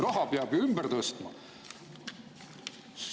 Raha peab ju ümber tõstma!